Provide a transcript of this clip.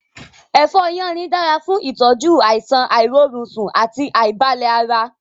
Èfó yánrin dára fún ìtọ́jú àìsàn àìrórunsùn àti àìbalẹ̀ ara.